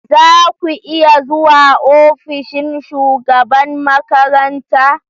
Za ku iya zuwa ofishin shugaban makaranta?